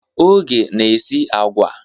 Oge na-esi agwa.